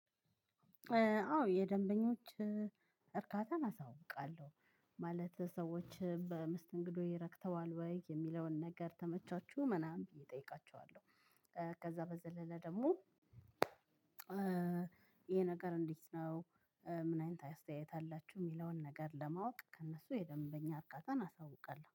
አዎ የደንበኞች እርካታን አሳውቃለሁ ማለት ሰዎች በመስተንግዶዬ ረክተዋል ወይ የሚለውን ነገር ተመቻችሁ ምናምን ብዬ እጠይቃችኋለሁ። ከዛ በዘለለ ደግሞ ይሄ ነገር እንዴት ነው? ምን አይነት አስተያየት አላችሁ የሚለውን ነገር ለማወቅ ከእነሱ የደንበኛ እርካታን አሳውቃለሁ